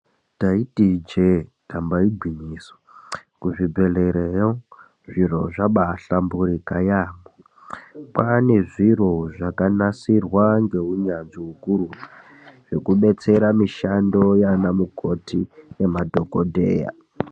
Taiti ijee damba igwinyiso kuzvibhehlerayo zviro zvabai hlamburika yambo kwane zviro zvakanasirwa ngeunyanzvi ukurutu zvekudetsera mushando yanamukoti nemadhokodheya .